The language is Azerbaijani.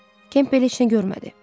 Kempeli heç nə görmədi.